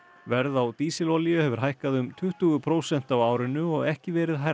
verð á dísilolíu hefur hækkað um tuttugu prósent á árinu og ekki verið hærra